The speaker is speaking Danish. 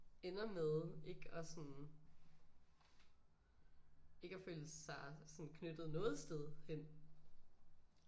Ender med ikke at sådan ikke at føle sig sådan knyttet noget sted hen